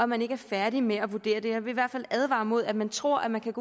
man ikke er færdig med at vurdere det her jeg vil i hvert fald advare imod at man tror at man kan